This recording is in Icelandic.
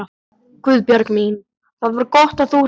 Guðbjörg mín, það var gott að þú hringdir.